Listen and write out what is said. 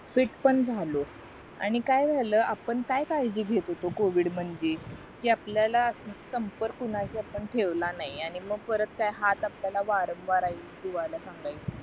fit पण झालो आणि काय झालं आपण काय काळजी घेत होतो covid म्हणजे कि आपल्याला संपर्क कोणाशी आपण ठेवला नाही आहे आणि मग परत काय हाच आपल्याला वारंवार सांगेल